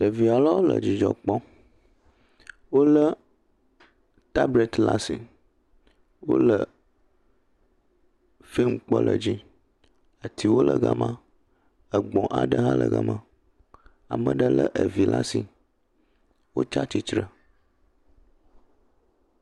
Ɖevi aɖewo le dzidzɔ kpɔm. Wolé tableti ɖe asi. Wole fim kpɔm le edzi. Atiwo le gema, gbɔ̃wo hã le gema. Ame aɖe le vi ɖe asi. Wotsi atsitre.